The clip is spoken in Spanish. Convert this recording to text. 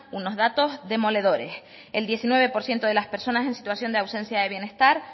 unos datos demoledores el diecinueve por ciento de las personas en situación de ausencia de bienestar